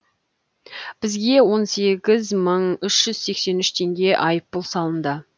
бізге он сегіз мың үш жүз сексен үш теңге айыппұл салынды